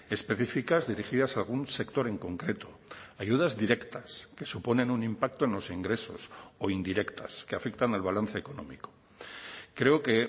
específicas dirigidas a algún sector en concreto ayudas directas que suponen un impacto en los ingresos o indirectas que afectan al balance económico creo que